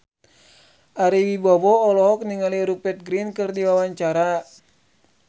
Ari Wibowo olohok ningali Rupert Grin keur diwawancara